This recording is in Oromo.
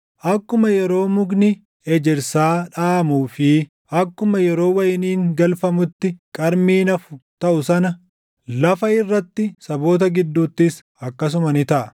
Akkuma yeroo mukni ejersaa dhaʼamuu fi akkuma yeroo wayiniin galfamutti qarmiin hafu taʼu sana, lafa irratti saboota gidduuttis akkasuma ni taʼa.